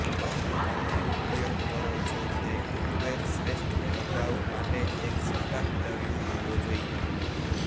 તમે ઉપયોગ કરો છો તે કૂકવેર શ્રેષ્ઠ પ્રભાવ માટે એક સપાટ તળિયું હોવો જોઈએ